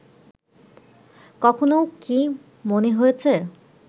কখনও কি মনে হয়েছে